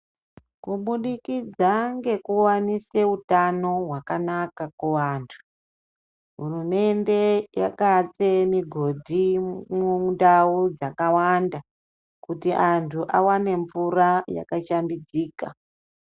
Kuburikidza ngekuwanoswa utano hwakanaka kuantu hurumende yakatse mugodhi mundau dzakawanda kuti anhu awane mvura yakashambidzika .